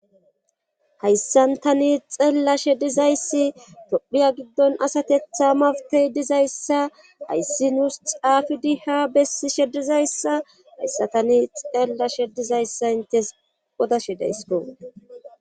Hayssan tani xeellashe dizayssi tophiya giddon asatetha mawtey dizayssa hayssi nuus xaafidi ha bessi shedizayssa hayssa tani xeellashe dizayssa intes odashe deysko.